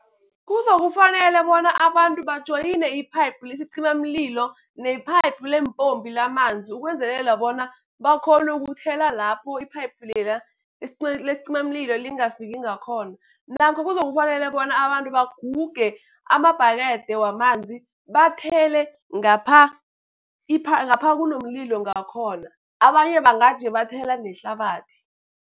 Kuzokufanele bona abantu bajoyine iphayiphu lesicimamlilo ne-pipe leempompi lamanzi, ukwenzelela bona bakghone ukuthela lapho iphayiphu lela lesicimamlilo lingafiki ngakhona. Namkha kuzokufanele bona abantu baguge amabhakede wamanzi, bathele ngapha ngapha kunomlilo ngakhona, abanye bangaje bathela nehlabathi.